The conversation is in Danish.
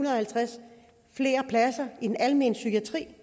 halvtreds pladser i den almene psykiatri